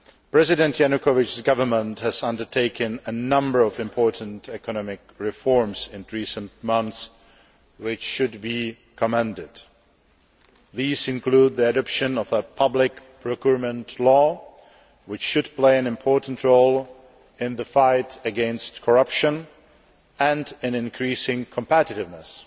President Yanukovych's government has undertaken a number of important economic reforms in recent months, which should be commended. These include the adoption of a public procurement law, which should play an important role in the fight against corruption and in increasing competitiveness.